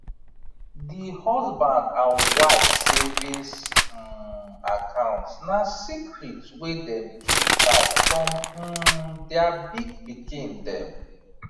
d husband and wife savings um account na secret wey dem keep tight from um their big pikin dem